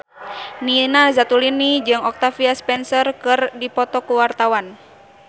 Nina Zatulini jeung Octavia Spencer keur dipoto ku wartawan